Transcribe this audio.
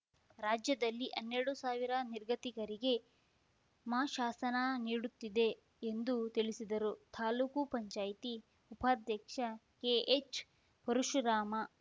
ರಾಜ್ಯದಲ್ಲಿ ಹನ್ನೆರಡು ಸಾವಿರ ನಿರ್ಗತಿಕರಿಗೆ ಮಾಶಾಸನ ನೀಡುತ್ತಿದೆ ಎಂದು ತಿಳಿಸಿದರು ತಾಲೂಕು ಪಂಚಾಯತಿ ಉಪಾಧ್ಯಕ್ಷ ಕೆಎಚ್‌ಪರಶುರಾಮ